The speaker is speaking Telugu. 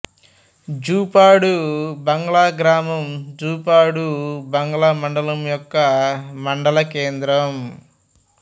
జూపాడు బంగ్లా గ్రామం జూపాడు బంగ్లా మండలం యొక్క మండలకేంద్రం